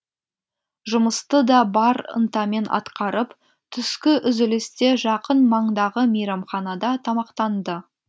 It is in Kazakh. жұмысты да бар ынтамен атқарып түскі үзілісте жақын маңдағы мейрамханада тамақтанды